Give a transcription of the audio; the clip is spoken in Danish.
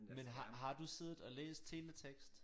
Men har har du siddet og læst teletekst?